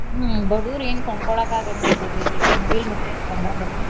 ಹ್ಮ ಬಡುರು ಏನ ಕೊಂಡಕೊಳ್ಳಾಕ ಆಗಾಂಗಿಲ್ಲ ಬಿಡ್ರಿ ಈಗ ಮುಗಿಲ ಮುಟ್ಟೆತ್ರಿ ಬಂಗಾರ rate .